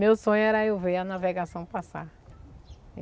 Meu sonho era eu ver a navegação passar.